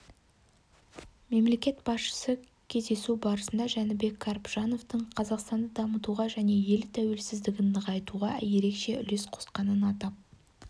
мемлекет басшысы кездесу барысында жәнібек кәрібжановтың қазақстанды дамытуға және ел тәуелсіздігін нығайтуға ерекше үлес қосқанын атап